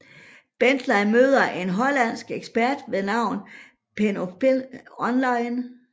Bentley møder en hollandsk ekspert ved navn Penelope online